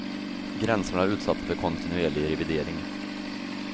Gränserna är utsatta för kontinuerlig revidering.